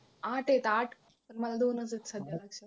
आठ आहेत आठ पण मला दोनच आहेत सध्या माहिती